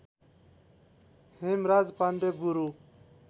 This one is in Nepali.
हेमराज पाण्डे गुरु